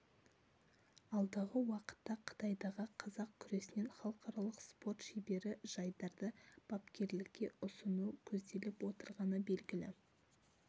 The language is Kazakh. алдағы уақытта қытайдағы қазақ күресінен халқаралық спорт шебері жайдарды бапкерлікке ұсыну көзделіп отырғаны белгілі